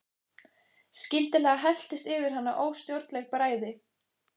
Skyndilega helltist yfir hana óstjórnleg bræði.